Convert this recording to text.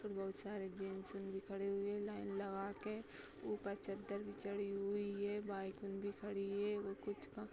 ऊपर बहुत सारे जेंसन भी खड़े हुए हैं लाइन लगाके । ऊपर चद्दर भी चढ़ी हुई है। बाइकउन भी खड़ी हुई हैं। --